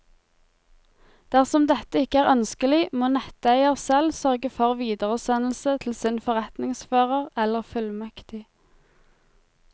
Dersom dette ikke er ønskelig, må netteier selv sørge for videresendelse til sin forretningsfører eller fullmektig.